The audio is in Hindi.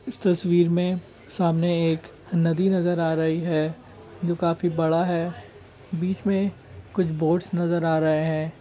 इस तस्वीर में सामने एक नदी नज़र आ रही है जो काफी बड़ा है बीच में कुछ बॉट्स नज़र आ रहे है।